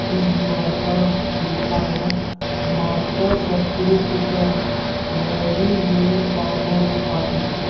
इस दीवार पर लिखा है माता शत्रु पिता वैरी येन बालो नः पठित--